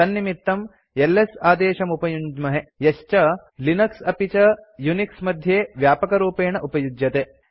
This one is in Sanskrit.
तन्निमित्तं एलएस आदेशमुपयुञ्ज्महे यश्च लिनक्स अपि च यूनिक्स मध्ये व्यापकरूपेण उपयुज्यते